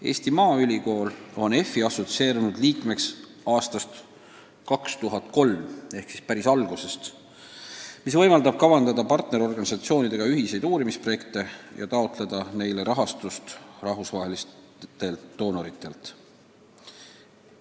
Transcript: Eesti Maaülikool on EFI assotsieerunud liige aastast 2003 ehk siis päris algusest, mis võimaldab kavandada partnerorganisatsioonidega ühiseid uurimisprojekte ja taotleda neile rahastust rahvusvahelistelt annetajatelt.